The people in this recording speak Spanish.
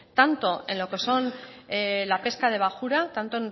tanto en lo que son la pesca de bajura tanto